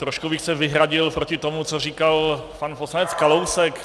Trošku bych se vyhradil proti tomu, co říkal pan poslanec Kalousek.